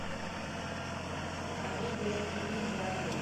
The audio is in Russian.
комедия с ириной муравьевой